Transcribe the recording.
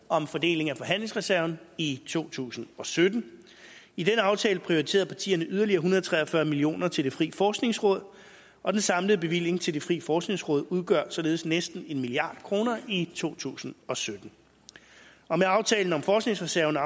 om fordeling af forhandlingsreserven i to tusind og sytten i den aftale prioriterede partierne yderligere en hundrede og tre og fyrre million kroner til det frie forskningsråd og den samlede bevilling til det frie forskningsråd udgør således næsten en milliard kroner i to tusind og sytten med aftalen om forskningsreserven og